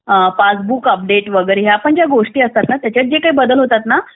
passbook update वगैरे या पण ज्या गोष्टी असतात ना यात पण ज्या बदल होतात ना